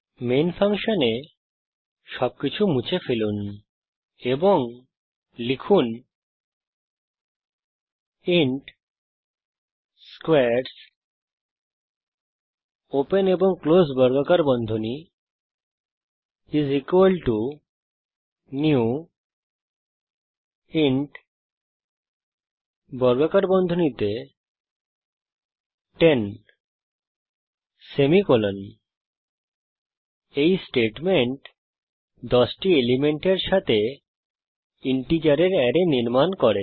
main ফাংশনে সবকিছু মুছে ফেলুন এবং লিখুন ইন্ট স্কোয়ারস নিউ ইন্ট 10 এই স্টেটমেন্ট 10টি এলিমেন্টের সাথে ইন্টিজারের অ্যারে নির্মাণ করে